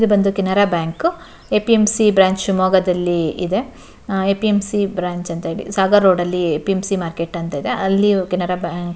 ಇದು ಬಂದು Canara bank A P M C branch ಶಿವಮೊಗ್ಗದಲ್ಲಿ ಇದೆ A P M C branch ಅಂತ ಹೇಳಿ Sagar road A P M C market ಅಂತ ಇದೆ ಅಲ್ಲಿ ಕೆನರಾ ಬ್ಯಾಂಕ್ --